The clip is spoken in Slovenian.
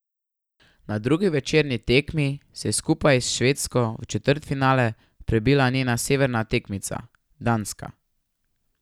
Na drugi večerni tekmi se je skupaj s Švedsko v četrtfinale prebila njena severna tekmica Danska.